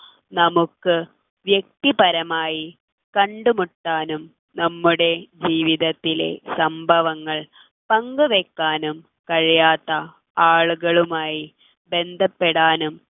നമുക്ക് വ്യക്തിപരമായി കണ്ടുമുട്ടാനും നമ്മുടെ ജീവിതത്തിലെ സംഭവങ്ങൾ പങ്കുവയ്ക്കാനും കഴിയാത്ത ആളുകളുമായി ബന്ധപ്പെടാനും